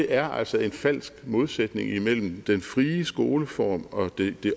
er altså en falsk modsætning mellem den frie skoleform og det